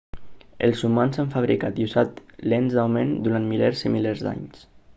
els humans han fabricat i usat lents d'augment durant milers i milers d'anys